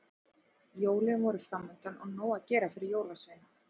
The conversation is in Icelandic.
Jólin voru framundan og nóg að gera fyrir jólasveina.